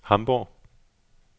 Hamborg